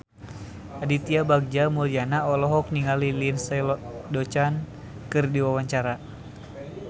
Aditya Bagja Mulyana olohok ningali Lindsay Ducan keur diwawancara